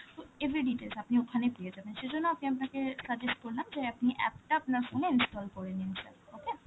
তো every details আপনি ওখানে পেয়ে যাবেন, সেই জন্য আমি আপনাকে suggest করলাম যে আপনি app টা আপনার phone এ install করেনিন sir, okay?